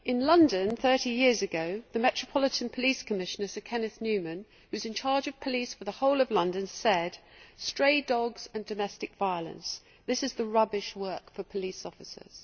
In London, thirty years ago, the Metropolitan Police Commissioner, Sir Kenneth Newman, who was in charge of police for the whole of London, said stray dogs and domestic violence rubbish work for police officers'.